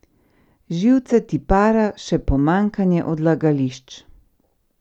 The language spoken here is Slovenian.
Živce ti para še pomanjkanje odlagališč!